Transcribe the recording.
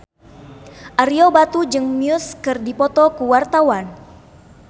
Ario Batu jeung Muse keur dipoto ku wartawan